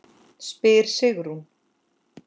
spyr Sigrún.